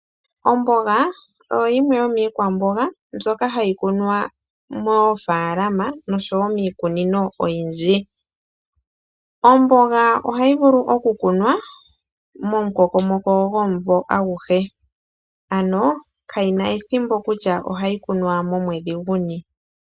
Omboga oyo yimwe yomiikwamboga mbyoka hayi kunwa moofaalama noshowo miikunino oyindji. Omboga ohayi vulu okukunwa momukokomoko gwomumvo aguhe. Ano, kayi na ethimbo kutya ohayi kunwa momwedhi guni.